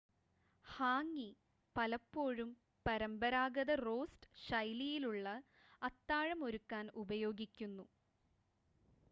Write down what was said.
hangi പലപ്പോഴും പരമ്പരാഗത roast ശൈലിയിലുള്ള അത്താഴം ഒരുക്കാൻ ഉപയോഗിക്കുന്നു